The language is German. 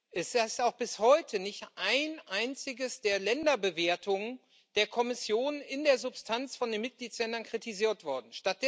Es ist auch bis heute nicht eine einzige der Länderbewertungen der Kommission in der Substanz von den Mitgliedsländern kritisiert worden.